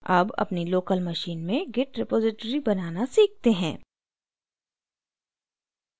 अब अपनी local machine में git repository बनाना सीखते हैं